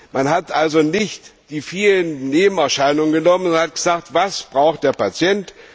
Man hat also nicht die vielen Nebenerscheinungen genommen und gesagt Was braucht der Patient?